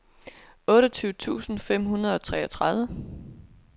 otteogtyve tusind fem hundrede og treogtredive